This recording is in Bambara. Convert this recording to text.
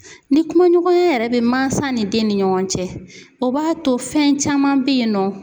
Ni kumaɲɔgɔnya yɛrɛ bɛ mansa ni den ni ɲɔgɔn cɛ o b'a to fɛn caman be yen nɔ